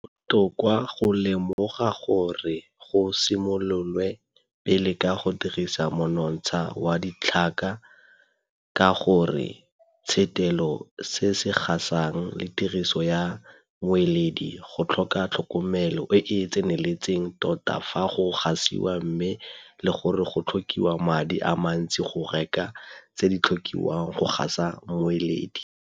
Go botoka go lemoga gore go simololwe pele ka go dirisa monontsha wa ditlhaka ka gore tshetelo ya se se gasang le tiriso ya moeledi go tlhoka tlhokomelo e e tseneletseng tota fa go gasiwa mme le gore go tlhokiwa madi a mantsi go reka tse di tlhokiwang go gasa moeledi.